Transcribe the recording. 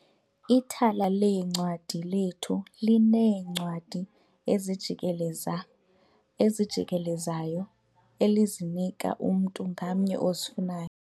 Ithala leencwadi lethu lineencwadi ezijikelezayo elizinika umntu ngamnye ozifunayo.